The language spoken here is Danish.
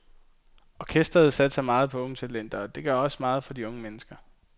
Orkestret satser meget på unge talenter, og det gør også meget for unge mennesker.